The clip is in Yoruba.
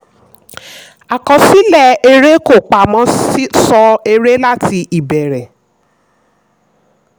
àkọsílẹ̀ èrè kò pamọ́ sọ èrè láti ìbẹ̀rẹ̀.